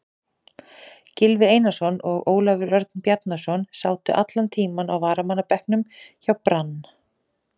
Gylfi Einarsson og Ólafur Örn Bjarnason sátu allan tímann á varamannabekknum hjá Brann.